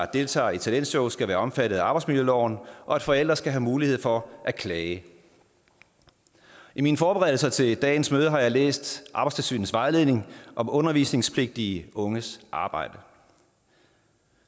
deltager i talentshow skal være omfattet af arbejdsmiljøloven og at forældre skal have mulighed for at klage i mine forberedelser til dagens møde har jeg læst arbejdstilsynets vejledning om undervisningspligtige unges arbejde